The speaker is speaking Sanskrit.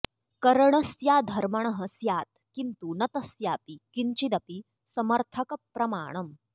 करणस्याधमर्णः स्यात् किन्तु न तस्यापि किञ्चिदपि समर्थक प्रमाणम्